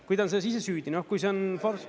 Kui ta on selles ise süüdi, kui see on ...